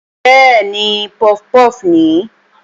Bẹ́ẹ̀ni, puff puff nìí